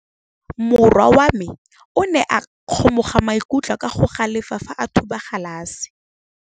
Morwa wa me o ne a kgomoga maikutlo ka go galefa fa a thuba galase.